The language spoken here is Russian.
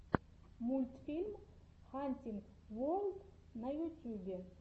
мультфильм хантинг ворлд на ютюбе